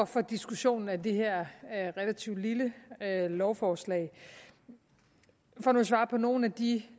for diskussionen af det her relativt lille lovforslag for nu at svare på nogle af de